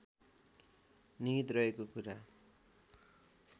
निहित रहेको कुरा